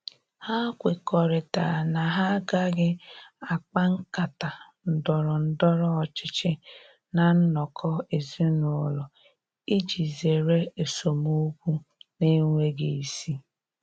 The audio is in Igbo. Ha kwekọrịtara na ha agaghị akpa nkata ndọrọ ndọrọ ọchịchị ná nnọkọ ezinụlọ iji zere esemokwu na-enweghi isi.